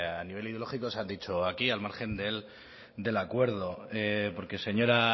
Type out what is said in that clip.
a nivel ideológico se han dicho aquí al margen del acuerdo porque señora